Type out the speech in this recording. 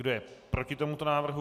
Kdo je proti tomuto návrhu?